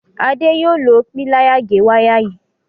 Ade yóò ló Píláyà gé waya yí